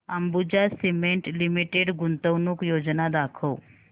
Ambuja Cement Limited गुंतवणूक योजना दाखव